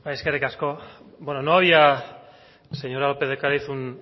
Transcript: eskerrik asko no había señora lópez de ocariz un